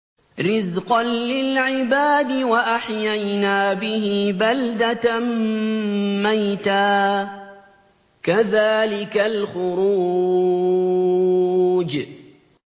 رِّزْقًا لِّلْعِبَادِ ۖ وَأَحْيَيْنَا بِهِ بَلْدَةً مَّيْتًا ۚ كَذَٰلِكَ الْخُرُوجُ